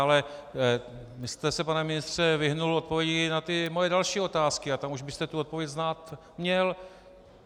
Ale vy jste se, pane ministře, vyhnul odpovědi na ty moje další otázky a tam už byste tu odpověď znát měl.